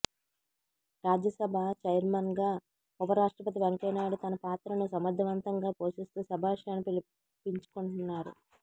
రాజ్యసభ ఛైర్మన్గా ఉప రాష్ట్రపతి వెంకయ్యనాయుడు తన పాత్రను సమర్థవంతంగా పోషిస్తూ శభాష్ అనిపించుకుంటున్నారు